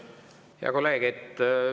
Hea kolleeg!